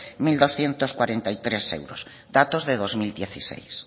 mil doscientos cuarenta y tres euros datos de dos mil dieciséis